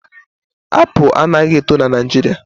Apụl anaghị eto n'Naijiria